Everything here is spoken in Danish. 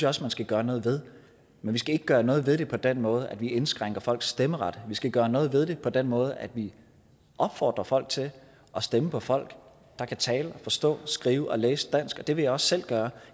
jeg også man skal gøre noget ved men vi skal ikke gøre noget ved det på den måde at vi indskrænker folks stemmeret vi skal gøre noget ved det på den måde at vi opfordrer folk til at stemme på folk der kan tale og forstå skrive og læse dansk og det vil jeg også selv gøre